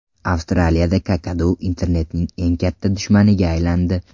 Avstraliyada kakadu internetning eng katta dushmaniga aylandi.